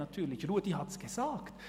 Ruedi Löffel hat es gesagt: